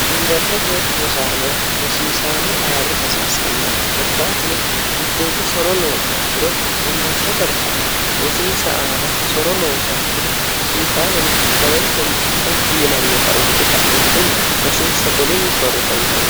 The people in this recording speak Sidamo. yuniwersete rosaano rosiisaano ayirri hasiissannate forkaatino mitteejja soro loo suakiro yuniwersete rosaano rosinsa aana soro loo sakiro rosiisaanono hakkaweentenni effi yinannita uuxe ka'entinni rosinsa golinni shorritoona nno